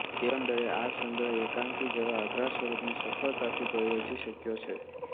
એકંદરે આ સંગ્રહ એકાંકી જેવા અઘરા સ્વરૂપને સફળતાથી પ્રયોજી શક્યો છે